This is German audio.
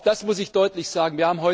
Auch das muss ich deutlich sagen.